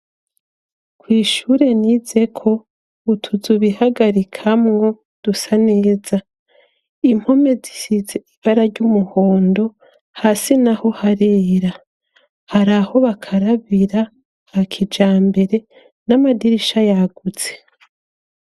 kw'shure nizeko utuzu b'ihagarikamwo dusa neza .Impome zisize ibara ry'umuhondo ,hasi naho harera hari aho bakarabira hakijambere n'amadirisha yagutse.